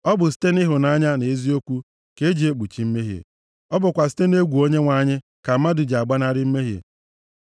Ọ bụ site nʼịhụnanya na eziokwu ka eji ekpuchi mmehie; ọ bụkwa site nʼegwu Onyenwe anyị ka mmadụ ji agbanarị mmehie.